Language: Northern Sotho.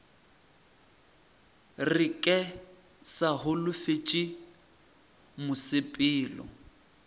re ke sa holofetše mosepelo